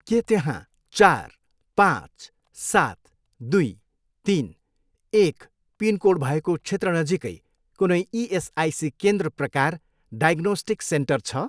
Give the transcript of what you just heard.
के त्यहाँ चार, पाँच, सात, दुई, तिन, एक पिनकोड भएको क्षेत्र नजिकै कुनै इएसआइसी केन्द्र प्रकार डायग्नोस्टिक सेन्टर छ?